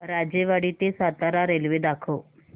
राजेवाडी ते सातारा रेल्वे दाखव